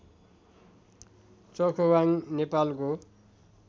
चौखवाङ नेपालको